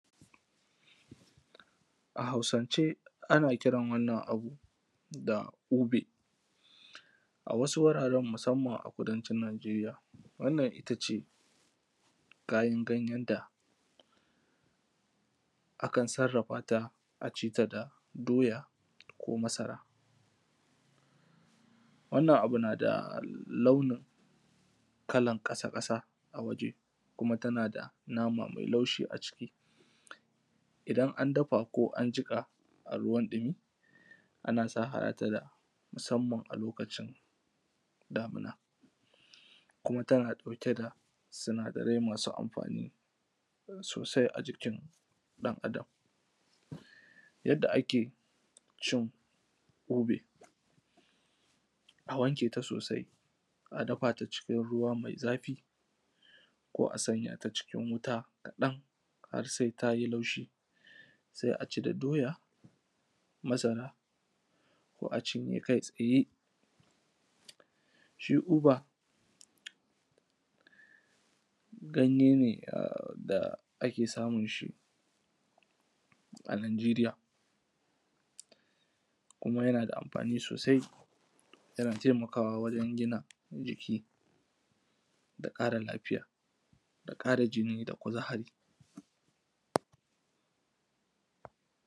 a hausance ana kiran wannan abun da ube a wasu wuraren musamman kudancin najeriya wannan ita ce kayan ganyen da akan sarrafa ta a ci ta da doya ko masara wannan abu na da launin kalan ƙasa ƙasa a waje kuma tana da nama mai laushi a ciki idan an dafa ko an jiƙa a ruwan ɗimi ana saharata da musamman a lokacin damuna kuma tana ɗauke da sinadarai masu amfani sosai a jikin ɗan adam yadda ake cin ube a wanke ta sosai a dafa ta cikin ruwa mai zafi ko a sanya ta cikin wuta kaɗan har sai ta yi laushi sai a ci da doya masara ko a cinye kai tsaye shi ube ganye ne da ake samun shi a najeriya kuma yana da amfani sosai yana taimakawa wajan gina jiki da ƙara lafiya da ƙara jini da kuzari